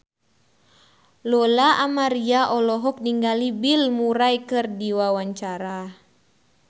Lola Amaria olohok ningali Bill Murray keur diwawancara